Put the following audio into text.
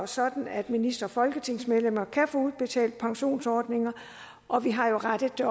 sådan at ministre og folketingsmedlemmer kan få udbetalt pensionsordninger og vi har jo rettet det